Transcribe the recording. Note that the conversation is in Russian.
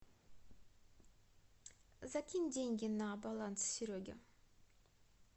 закинь деньги на баланс сереге